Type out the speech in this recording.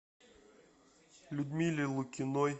людмиле лукиной